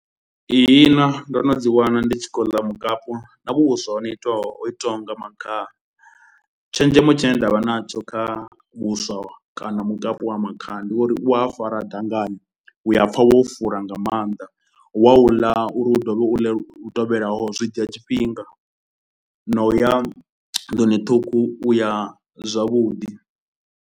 Ihina ndo no dzi wana ndi tshi khou ḽa mukapu na vhuswa ho no itwaho ho itiwaho nga makhaha, tshenzhemo tshine nda vha natsho kha vhuswa kana mukapu wa makhaha ndi wo ri u ya fara dangani. U a pfha wo fura nga maanḓa, wa u ḽa uri u dovhe u ḽe lu tevhelaho zwi dzhia tshifhinga na u ya nḓuni ṱhukhu u ya zwavhuḓi.